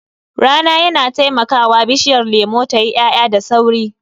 Rana yana taimakawa bishiyar lemu tayi ya'ya da sauri.